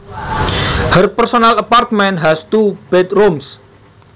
Her personal apartment has two bedrooms